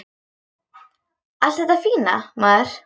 Allt þetta fína, maður.